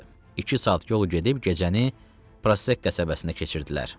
İki saat yol gedib gecəni Prosek qəsəbəsində keçirdilər.